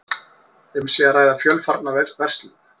Um sé að ræða fjölfarna verslun